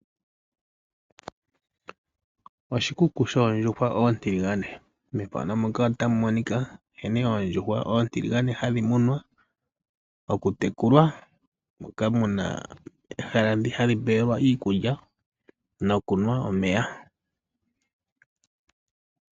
Oshikuku shondjuhwa ontiligane. MoNamibia omu na omahala ogendji mpoka hapu munwa oondjuhwa oontiligane, mpoka hadhi tekulilwa pehala mpoka pe na iikulya nomeya ga gwana nawa.